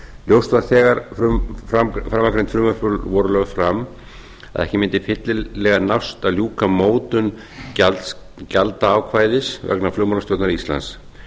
ljóst var þegar framangreind frumvörp voru lögð fram að ekki mundi fyllilega nást að ljúka mótun gjaldaákvæðis vegna flugmálastjórnar íslands